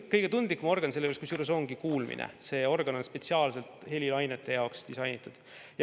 Kõige tundlikum organ selle juures ongi kuulmine, see organ on spetsiaalselt helilainete jaoks disainitud.